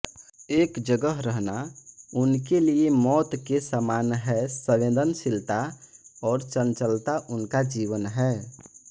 एक जगह रहना उनके लिये मौत के समान हैसंवेदनशीलता और चंचलता उनका जीवन है